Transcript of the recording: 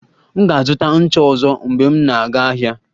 M ga-azụta ncha ọzọ mgbe m na-aga ahịa